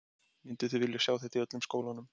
Mynduð þið vilja sjá þetta í öllum skólanum?